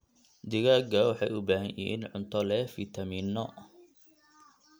Digaagga waxay u baahan yihiin cunto leh fiitamiinno.